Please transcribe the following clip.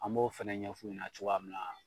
An b'o fɛnɛ ɲɛf'u ɲɛna cogoya minna